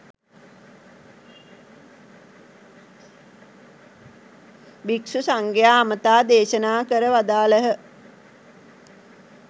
භික්ෂු සංඝයා අමතා දේශනා කර වදාළහ.